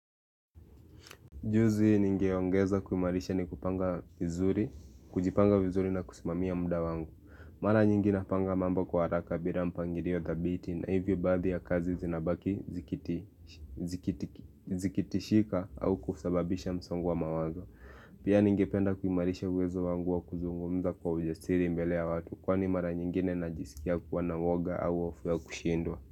Juzi nigeongeza kuimarisha ni kupanga vizuri, kujipanga vizuri na kusimamia muda wangu. Mara nyingine napanga mambo kwa haraka bila mpangilio thabiti na hivyo baadhii ya kazi zinabaki zikitishika au kusababisha msongo wa mawazo. Pia ningependa kuimarisha uwezo wangu wa kuzungumza kwa ujasiri mbele ya watu, kwa ni mara nyingine najisikia kuwa na uwoga au hofu ya kushindwa.